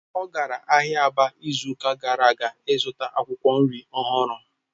Ọ gara ahịa Aba izuụka gara aga zụta akwụkwọ nri ọhụrụ